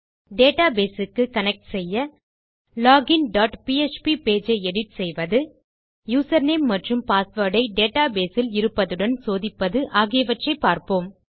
database க்கு connect செய்ய login dot PHP page ஐ எடிட் செய்வது யூசர்நேம் மற்றும் பாஸ்வேர்ட் ஐ டேட்டாபேஸ் இல் இருப்பதுடன் சோதிப்பது ஆகியவற்றை பார்க்கலாம்